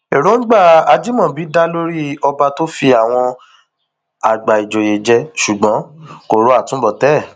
èròǹgbà ajimobi dáa lórí ọba tó fi àwọn àgbà ìjòyè jẹ ṣùgbọn kò ro àtúbọtán ẹ